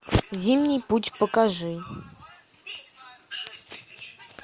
зимний путь покажи